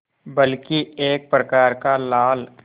बल्कि एक प्रकार का लाल